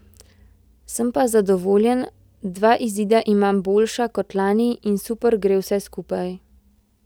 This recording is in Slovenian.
Sem pa zadovoljen, dva izida imam boljša kot lani in super gre vse skupaj.